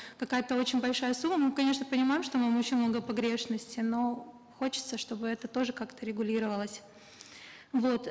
какая то очень большая сумма мы конечно понимаем что мы очень много погрешности но хочется чтобы это тоже как то регулировалось вот